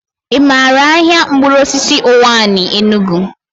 I maara ahịa mkpụrụosisi Ụwanị, Enugu?